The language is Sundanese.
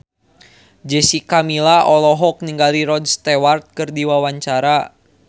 Jessica Milla olohok ningali Rod Stewart keur diwawancara